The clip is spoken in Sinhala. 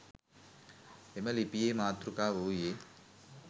එම ලිපියේ මාතෘකාව වූයේ